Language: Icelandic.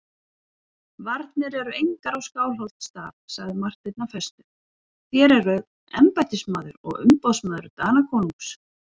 Varnir eru engar á Skálholtsstað, sagði Marteinn af festu,-þér eruð embættismaður og umboðsmaður Danakonungs.